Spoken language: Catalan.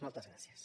moltes gràcies